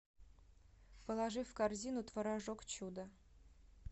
положи в корзину творожок чудо